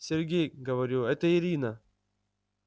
сергей говорю это ирина